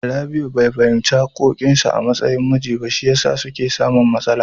Rabi'u bai fahimci haƙƙoƙin sa a matsayin miji ba, shi yasa suke samun matsala.